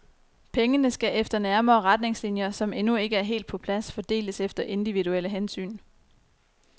Pengene skal efter nærmere retningslinjer, som endnu ikke er helt på plads, fordeles efter individuelle hensyn.